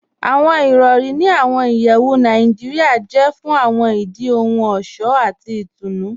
Awọn irọ̀ri ní awọn ìyẹwù Naijiria jẹ̀ fún awọn ìdí ohun ọṣọ̀ àti ìtúnu.